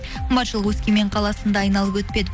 қымбатшылық өскемен қаласын да айналып өтпеді